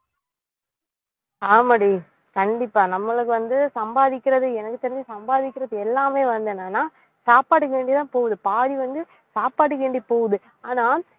ஆமாடி கண்டிப்பா நம்மளுக்கு வந்து சம்பாதிக்கிறது எனக்கு தெரிஞ்சு சம்பாதிக்கிறது எல்லாமே வந்து என்னன்னா சாப்பாடுக்கு வேண்டி தான் போகுது பாதி வந்து சாப்பாட்டுக்கு வேண்டி போகுது ஆனா